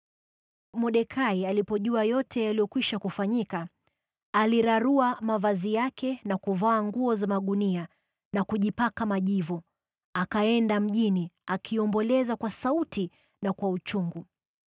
Mordekai alipojua yote yaliyokwisha kufanyika, alirarua mavazi yake na kuvaa nguo za magunia na kujipaka majivu, akaenda mjini, akiomboleza kwa sauti na kwa uchungu.